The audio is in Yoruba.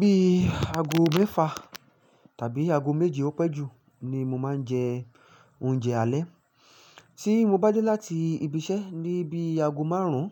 Bíi ago mẹ́fà tàbí ago méje ó pẹ́ jù ni mo máa ń jẹ oúnjẹ alẹ́. Tí mo bá dé láti ibi iṣẹ́ ní bí ago márùn-ún